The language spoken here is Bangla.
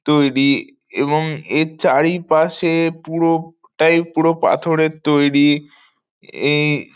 তৈরি এবং এ্রর চারি পাশে পুরো টাই পুরো পাথরের তৈরি। এই--